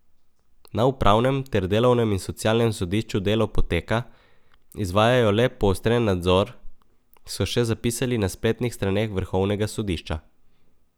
Na upravnem ter delovnem in socialnem sodišču delo poteka, izvajajo le poostren nadzor, so še zapisali na spletnih straneh vrhovnega sodišča.